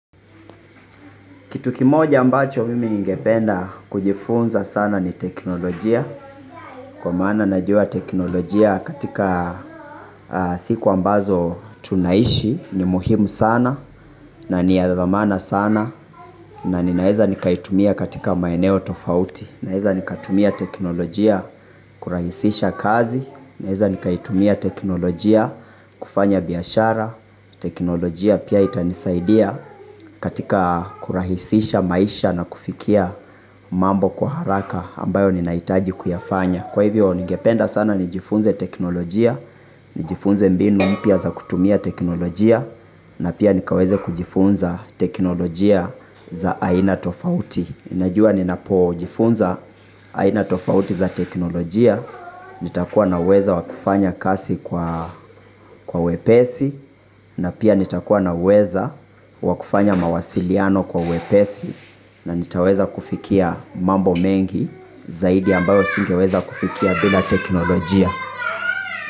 Kitu kimoja ambacho mimi ningependa kujifunza sana ni teknolojia, kwa maana najua teknolojia katika a siku ambazo tunaishi ni muhimu sana na ni ya dhamana sana na ninaeza nikaitumia katika maeneo tofauti. Naeza nikatumia teknolojia kurahisisha kazi naeza nikaitumia teknolojia kufanya biashara. Teknolojia pia itanisaidia katikaa kurahisisha maisha na kufikia mambo kwa haraka ambayo ninaitaji kuyafanya kwa hivyo ningependa sana nijifunze teknolojia. Nijifunze mbinu mpya za kutumia teknolojia. Na pia nikaweze kujifunza teknolojia za aina tofauti najua ninapojifunza aina tofauti za teknolojia, nitakuwa na uweza wakufanya kasi kwa kwa wepesi, na pia nitakuwa na uweza wa kufanya mawasiliano kwa wepesi, na nitaweza kufikia mambo mengi zaidi ambayo singeweza kufikia bila teknolojia.